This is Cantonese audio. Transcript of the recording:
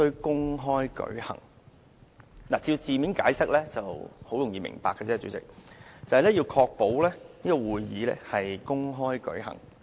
代理主席，字面的意思清楚易明，便是要確保會議公開舉行。